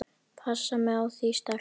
Passa mig á því sterka.